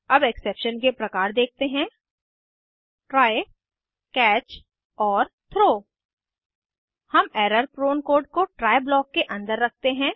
अब एक्सेप्शन के प्रकार देखते हैं ट्राय कैच और थ्रो हम एरर प्रोन कोड को ट्राय ब्लॉक के अंदर रखते हैं